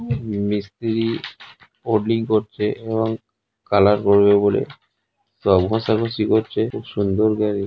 মিস্ত্রি ওলডিং করতে এবং কালার করবে বলে সব ঘষাঘষি করছে খুব সুন্দর গাড়ি ।